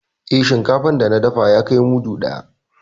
Eh, shinkafan da na dafa ya kai mudu ɗaya.